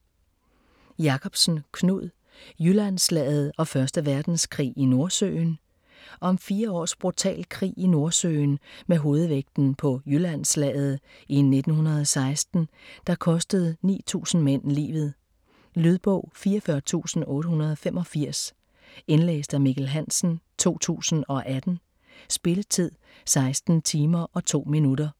Jakobsen, Knud: Jyllandsslaget og første verdenskrig i Nordsøen Om fire års brutal krig i Nordsøen med hovedvægten på Jyllandsslaget i 1916 der kostede 9000 mænd livet. Lydbog 44885 Indlæst af Mikkel Hansen, 2018. Spilletid: 16 timer, 2 minutter.